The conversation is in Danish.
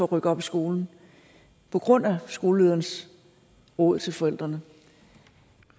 rykke op i skolen på grund af skolelederens råd til forældrene